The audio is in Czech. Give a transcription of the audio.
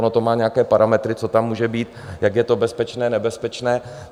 Ono to má nějaké parametry, co tam může být, jak je to bezpečné, nebezpečné.